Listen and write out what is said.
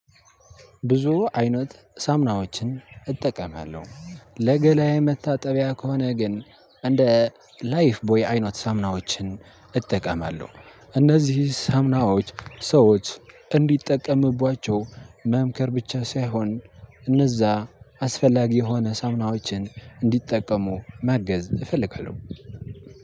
ብዙ አይነት ሳምናዎችን እጠቀማለሁ። ለገላዬ መታጠቢያ ከሆነ ግን እንደ ላይፍ ቦይ አይነት ሰሙናዎችን እጠቀማለሁ እነዚህ ሰሙናዎች ሰዎች እንድጠቀምባቻው መምከር ብቻ ሳይሆን እነዛ አስፈላጊ የሆነ ሳሙናዎችን እንዲጠቀሙ ማገዝ እፈልጋለው።